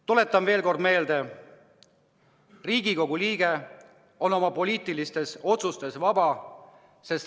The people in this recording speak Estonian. Tuletan veel kord meelde: Riigikogu liige on oma poliitilistes otsustes vaba.